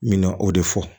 N mɛna o de fɔ